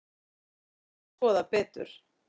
Þetta þurfi að skoða betur.